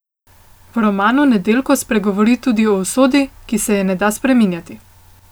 V romanu Nedeljko spregovori tudi o usodi, ki se je ne da spreminjati.